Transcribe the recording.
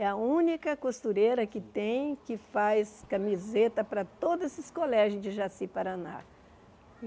É a única costureira que tem, que faz camiseta para todos esses colégios de Jaciparaná.